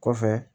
Kɔfɛ